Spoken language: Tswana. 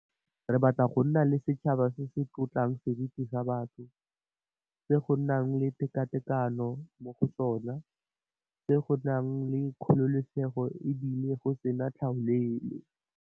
Re batla go nna le setšhaba se se tlotlang seriti sa batho, se go nang le tekatekano mo go sona, se go nang le kgololesego e bile go sena tlhaolele.